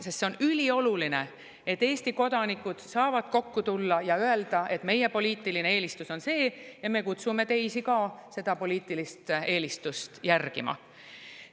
Sest on ülioluline, et Eesti kodanikud saavad tulla kokku ja öelda, et see on nende poliitiline eelistus ja nad kutsuvad teisi ka seda poliitilist eelistust järgima.